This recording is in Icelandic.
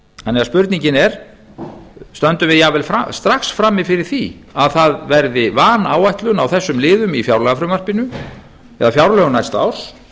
spurningin er því stöndum við jafnvel strax frammi fyrir því að það verði vanáætlun á þessum liðum í fjárlagafrumvarpinu eða fjárlögum næsta árs